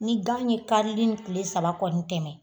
Ni gan ye karili ni tile saba kɔni tɛmɛ